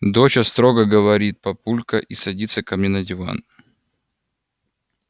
доча строго говорит папулька и садится ко мне на диван